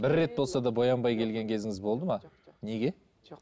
бір рет болса да боянбай келген кезіңіз болды ма неге жоқ